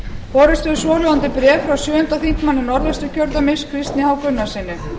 borist hefur svohljóðandi bréf frá sjöundi þingmaður norðausturkjördæmis kristni h gunnarssyni